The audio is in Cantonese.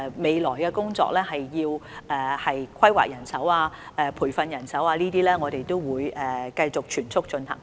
未來的工作涉及人手規劃及培訓，我們會繼續全速進行。